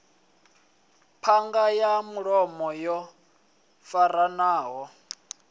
ṱhanga ya mulomo yo faranaho